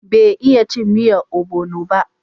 Bai iya cin miyan obono ba